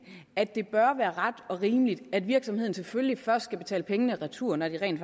at det bør være ret og rimeligt at virksomheden selvfølgelig først skal betale pengene retur når den rent